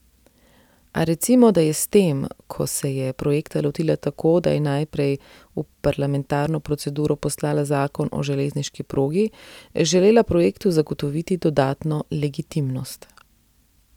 A recimo, da je s tem, ko se je projekta lotila tako, da je najprej v parlamentarno proceduro poslala zakon o železniški progi, želela projektu zagotoviti dodatno legitimnost.